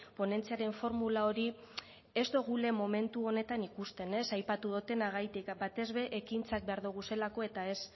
ponentziaren formula hori ez dugula momentu honetan ikusten ez aipatu dudanagati batez ere ekintzak behar ditugulako eta ez